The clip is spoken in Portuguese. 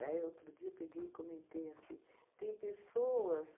Daí, outro dia, eu peguei e comentei assim, tem pessoas